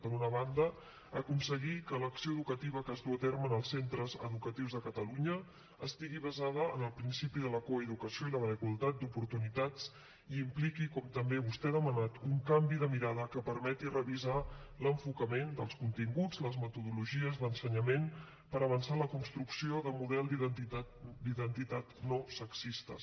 per una banda aconseguir que l’acció educativa que es duu a terme en els centres educatius de catalunya estigui basada en el principi de la coeducació i la igualtat d’oportunitats i impliqui com també vostè ha demanat un canvi de mirada que permeti revisar l’enfocament dels continguts i les metodologies d’ensenyament per avançar en la construcció de models d’identitats no sexistes